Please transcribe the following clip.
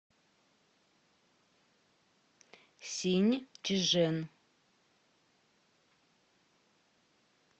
синьчжэн